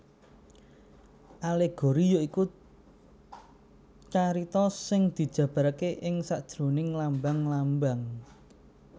Alegori ya iku carita sing dijabarké ing sajeroning lambang lambang